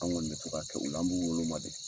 An kɔni bɛ to k'a kɛ nga an b'u wolo de.